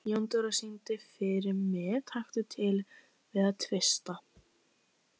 Jóndóra, syngdu fyrir mig „Taktu til við að tvista“.